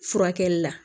Furakɛli la